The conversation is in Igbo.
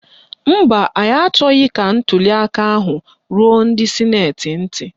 Mba, anyị achọghị ka ntuliaka ahụ ruo ndị sịnetị ntị.